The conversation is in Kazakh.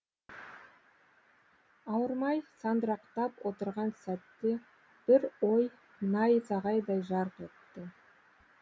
ауырмай сандырақтап отырған сәтте бір ой найзағайдай жарқ етті